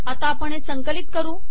आता आपण हे संकलित करू